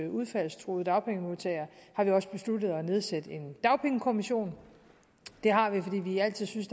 udfaldstruede dagpengemodtagere har vi også besluttet at nedsætte en dagpengekommission det har vi fordi vi altid synes